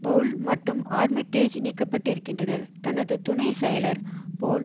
Powell மற்றும் Armitage நீக்கப்பட்டிருக்கின்றனர் தனது துணை செயலர் போல்